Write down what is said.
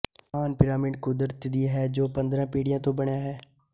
ਮਹਾਨ ਪਿਰਾਮਿਡ ਕੁਦਰਤ ਦੀ ਹੈ ਜੋ ਪੰਦਰਾਂ ਪੀੜ੍ਹੀਆਂ ਤੋਂ ਬਣਿਆ ਹੈ